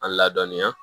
An ladɔnniya